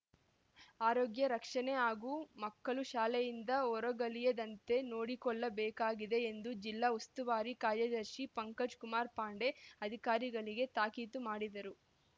ಆರೋಗ್ಯ ರಕ್ಷಣೆ ಹಾಗೂ ಮಕ್ಕಳು ಶಾಲೆಯಿಂದ ಹೊರಗಳಿಯದಂತೆ ನೋಡಿಕೊಳ್ಳಬೇಕಾಗಿದೆ ಎಂದು ಜಿಲ್ಲಾ ಉಸ್ತುವಾರಿ ಕಾರ್ಯದರ್ಶಿ ಪಂಕಜ್‌ ಕುಮಾರ್‌ ಪಾಂಡೆ ಅಧಿಕಾರಿಗಳಿಗೆ ತಾಕೀತು ಮಾಡಿದರು